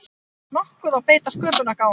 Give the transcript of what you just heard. nokkuð og beita sköpunargáfunni.